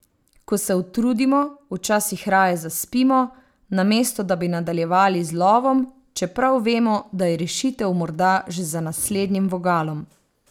Ko se utrudimo, včasih raje zaspimo, namesto da bi nadaljevali z lovom, čeprav vemo, da je rešitev morda že za naslednjim vogalom.